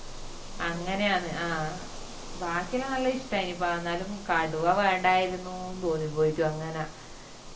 അങ്ങനെ ആന്ന് ബാക്കിയെല്ലാം നല്ല ഇഷ്ട്ടായിന് പ എന്നാലും കടുവ വേണ്ടായിരുന്നു ന്ന് തോന്നിപോയിറ്റു അങ്ങന